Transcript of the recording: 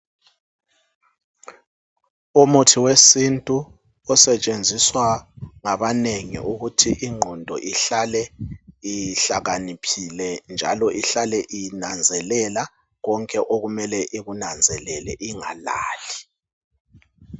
Umuthi wesintu osetshenziswa ngabanengi ukuthi ingqondo ihlale ihlakaniphile njalo ihlale inanzelela konke okumele ikunanzelele ingalali